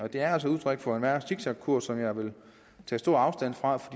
det er altså udtryk for en værre zigzagkurs som jeg vil tage stor afstand fra for